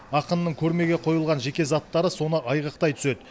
ақынның көрмеге қойылған жеке заттары соны айғақтай түседі